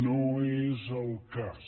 no és el cas